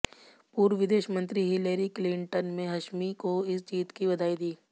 पूर्व विदेश मंत्री हिलेरी क्लिंटन मे हाशमी को इस जीत की बधाई दी